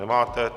Nemáte.